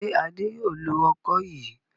Ṣé Adé yóò lo ọkọ́ yìí?